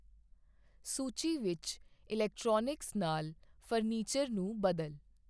ਸੂਚੀ ਵਿੱਚ ਇਲੈਕਟ੍ਰੋਨਿਕਸ ਨਾਲ ਫਰਨੀਚਰ ਨੂੰ ਬਦਲ